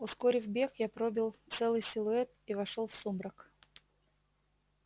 ускорив бег я пробил целый силуэт и вошёл в сумрак